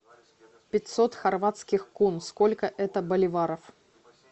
пятьсот хорватских кун сколько это боливаров